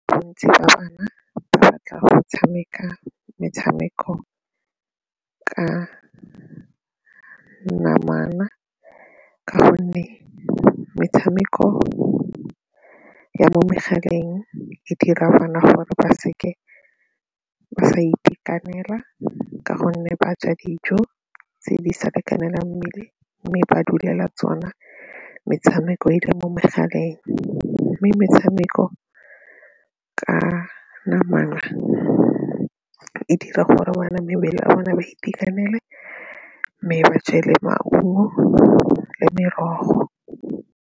Bontsi ba bana ba batla go tshameka metshameko ka namana ka gonne metshameko ya mo megaleng e dira bana gore ba seke ba sa itekanela ka gonne ba ja dijo tse di sa lekanelang mmele mme ba dulela tsona metshameko e e le mo megaleng mme metshameko ka namana e dira gore bana mebele ya bone ba itekanele mme ba je le maungo le merogo.